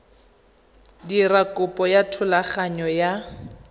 dira kopo ya thulaganyo ya